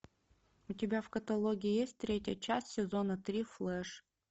у тебя в каталоге есть третья часть сезона три флэш